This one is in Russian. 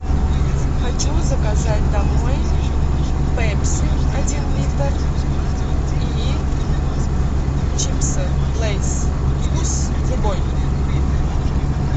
хочу заказать домой пепси один литр и чипсы лейс вкус любой